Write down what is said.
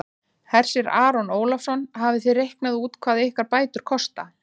Hersir Aron Ólafsson: Hafið þið reiknað út hvað ykkar bætur kosta?